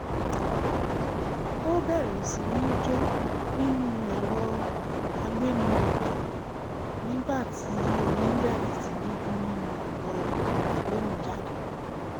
ó bẹ̀rẹ̀ sí ní jó nínú ẹ̀rọ agbéniròkè nígbà tí orin bẹ̀rẹ̀ sí ní dún nínú ẹ̀rọ agbóhùnjáde